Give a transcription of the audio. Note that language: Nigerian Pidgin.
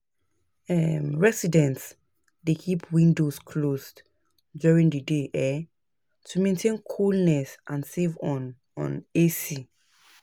um Residents dey keep windows closed during the day um to maintain coolness and save on on AC.